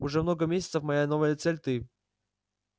уже много месяцев моя новая цель ты